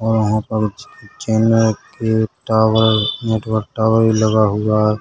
और यहाँ पर च चैनल का एक टावर नेटवर्क टावर भी लगा हुआ है